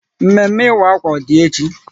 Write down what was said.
Mme mme ịwa akwa ọ dị echi?